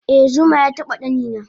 eh zuma yataba ɗanina